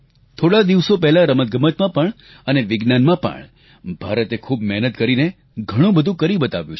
થોડાં દિવસો પહેલાં રમતગમતમાં પણ અને વિજ્ઞાનમાં પણ ભારતે ખૂબ મહેનત કરીને ઘણુંબધુ કરી બતાવ્યું છે